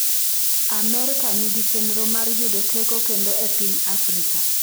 Amerka nigi chenro mar yudo teko kendo e piny Afrika